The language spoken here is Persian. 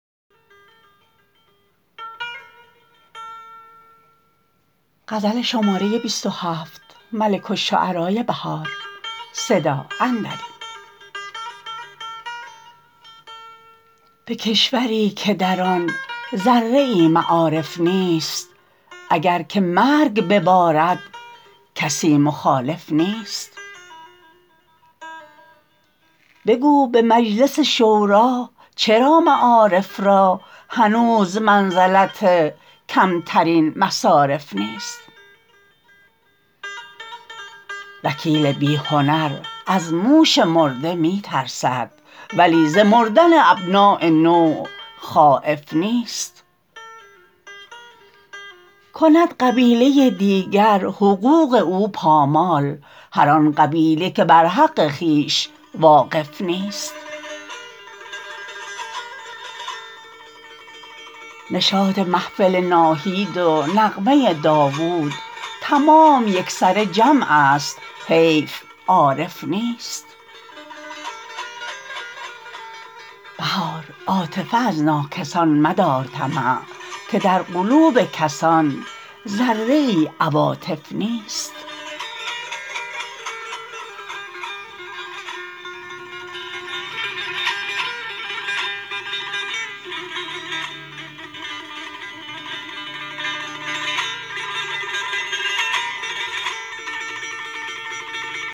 به کشوری که در آن ذره ای معارف نیست اگر که مرگ ببارد کسی مخالف نیست بگو به مجلس شورا چرا معارف را هنوز منزلت کم ترین مصارف نیست وکیل بی هنر از موش مرده می ترسد ولی ز مردن ابناء نوع خایف نیست کند قبیله دیگر حقوق او پامال هر آن قبیله که بر حق خویش واقف نیست نشاط محفل ناهید و نغمه داود تمام یکسره جمع است حیف عارف نیست بهار عاطفه از ناکسان مدار طمع که در قلوب کسان ذره ای عواطف نیست